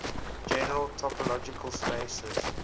general topological spaces